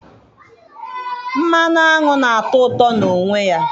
mmanụ aṅụ na-atọ ụtọ na onwe ya.